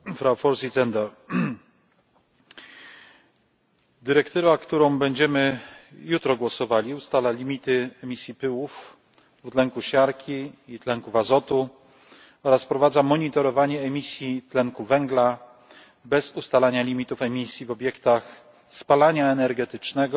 Pani Przewodnicząca! Dyrektywa, którą będziemy jutro głosowali, ustala limity emisji pyłów dwutlenku siarki i tlenków azotu oraz wprowadza monitorowanie emisji tlenku węgla bez ustalania limitów emisji w obiektach spalania energetycznego